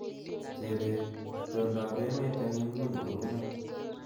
Chebet, itondoab emet eng nguni kounee